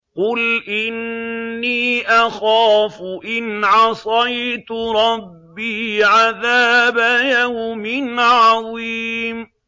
قُلْ إِنِّي أَخَافُ إِنْ عَصَيْتُ رَبِّي عَذَابَ يَوْمٍ عَظِيمٍ